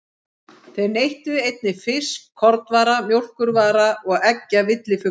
Þeir neyttu einnig fisks, kornvara, mjólkurvara og eggja villifugla.